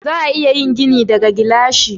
Za a iya yin gini daga gilashi.